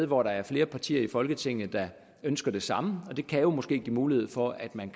hvor der er flere partier i folketinget der ønsker det samme det kan jo måske give en mulighed for at man